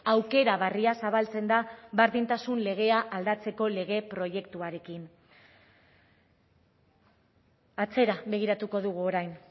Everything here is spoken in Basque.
aukera berria zabaltzen da berdintasun legea aldatzeko lege proiektuarekin atzera begiratuko dugu orain